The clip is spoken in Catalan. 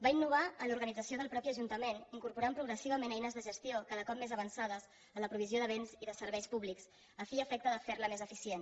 va innovar en l’organització del mateix ajuntament incorporant progressivament eines de gestió cada cop més avançades a la provisió de béns i de serveis públics a fi i efecte de fer la més eficient